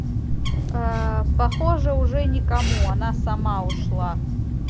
ээ похоже уже никому она сама ушла